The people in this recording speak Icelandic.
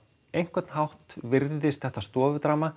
einhvern hátt virðist þetta